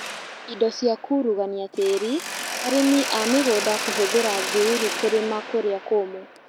Indo cia kurugania tĩri, arĩmi a mĩgũnda kũhũthĩra thururu kũrĩma kũrĩa kũmũ